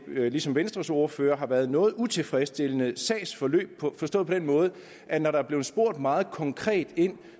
ligesom venstres ordfører har været et noget utilfredsstillende sagsforløb forstået på den måde at når der er blevet spurgt meget konkret ind